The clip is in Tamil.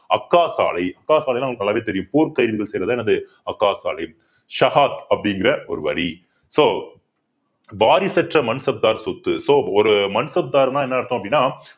அப்கா சாலை அப்கா சாலைன்னா உங்களுக்கு நல்லாவே தெரியும் போர் கைதுகள் செய்யறது என்னது அப்கா சாலை சகாத் அப்படிங்கற ஒரு வரி so வாரிசற்ற மண்சப்தார் சொத்து so ஒரு மன்சப்தார்ன்னா என்ன அர்த்தம் அப்படின்னா